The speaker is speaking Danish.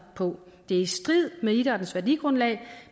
på det er i strid med idrættens værdigrundlag